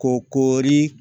Ko koori